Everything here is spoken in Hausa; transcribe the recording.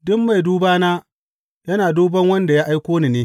Duk mai dubana, yana duban wanda ya aiko ni ne.